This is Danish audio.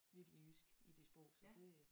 Virkelig jysk i de sprog så det